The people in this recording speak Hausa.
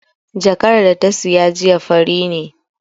Jakar da ta saya jiya fari ne